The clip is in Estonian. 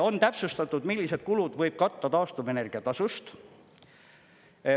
On täpsustatud, millised kulud võib katta taastuvenergia tasust.